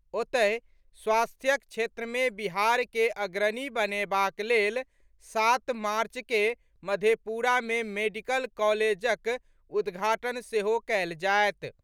ओतहि, स्वास्थ्यक क्षेत्र में बिहार के अग्रणी बनेबाक लेल सात मार्च के मधेपुरा मे मेडिकल कॉलेजक उद्घाटन सेहो कएल जाएत।